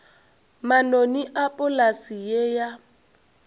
manoni a polase ye ya